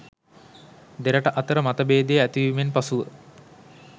දෙරට අතර මතභේදය ඇතිවීමෙන් පසුව